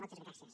moltes gràcies